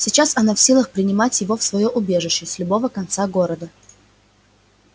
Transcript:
сейчас она в силах приманить его в своё убежище с любого конца города